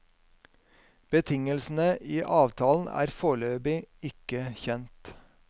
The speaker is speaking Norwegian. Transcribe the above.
Betingelsene i avtalen er foreløpig ikke kjent.